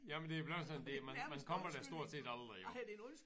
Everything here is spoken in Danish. Jamen det er bleven sådan det man man kommer der stort set aldrig jo